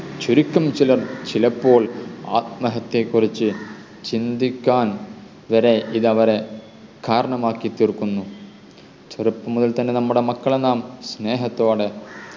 ചുരുക്കം ചിലർ ചിലപ്പോൾ ആത്മഹത്യയെ കുറിച്ച് ചിന്തിക്കാൻ വരെ ഇത് അവരെ കാരണമാക്കി തീർക്കുന്നു ചെറുപ്പം മുതൽ തന്നെ നമ്മുടെ മക്കളെ നാം സ്നേഹത്തോടെ